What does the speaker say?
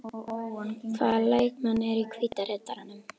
Hvaða leikmenn eru í Hvíta Riddaranum?